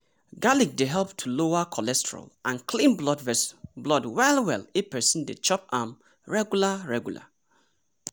garlic dey help to lower cholesterol and clean blood well-well if person dey chop am regular. regular.